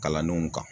Kalandenw kan